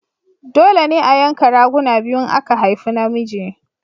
Dole ne a yanka raguna biyu in aka haifi na miji